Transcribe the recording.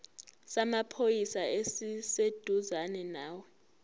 samaphoyisa esiseduzane nawe